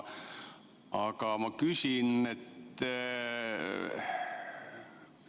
Aga ma küsin.